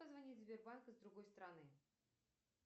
позвонить в сбербанк из другой страны